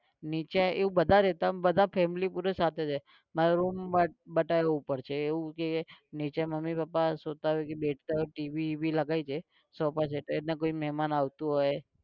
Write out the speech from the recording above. નીચે એવું બધા રહેતા બધા family પૂરા સાથે રે. મારો room બનાવ્યો ઉપર છે એવું કે નીચે મમ્મી પપ્પા સૂતા હોય કે બેઠતા હોય કે TV વીવી લગાઈ દે સોફા છે ક કોઈ મેમાન આવતું હોય